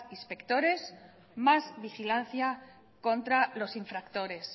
inspectores más vigilancia contra los infractores